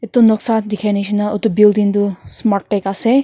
etu noksa te dekha nisna etu building tu smartech ase.